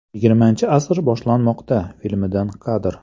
Yigirmanchi asr boshlanmoqda” filmidan kadr.